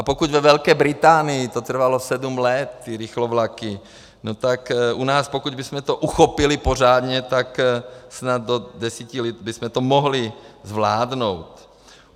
A pokud ve Velké Británii to trvalo sedm let, ty rychlovlaky, no tak u nás, pokud bychom to uchopili pořádně, tak snad do deseti let bychom to mohli zvládnout.